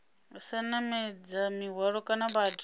sa namedza mihwalo kana vhathu